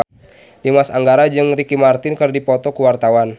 Dimas Anggara jeung Ricky Martin keur dipoto ku wartawan